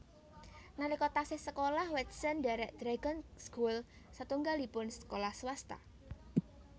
Nalika taksih sekolah Watson ndhèrèk Dragon School satunggalipun sekolah swasta